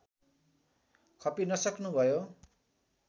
खपिनसक्नु भयो